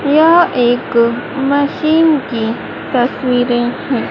यह एक मशीन की तस्वीरे है।